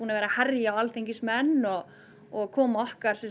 að herja á alþingismenn og og koma okkar